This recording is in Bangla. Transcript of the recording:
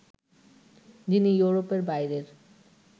যিনি ইউরোপের বাইরের